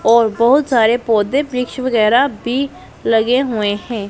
और बहोत सारे पौधे वृक्ष और वगैरा भी लगे हुए हैं।